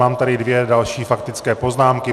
Mám tady dvě další faktické poznámky.